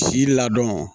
Si ladɔn